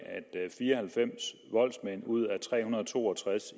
fire og halvfems ud af tre hundrede og to og tres